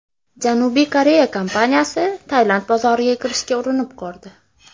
Janubiy Koreya kompaniyasi Tailand bozoriga kirishga urinib ko‘rdi.